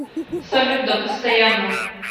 салют да постоянно